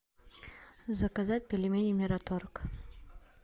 заказать пельмени мираторг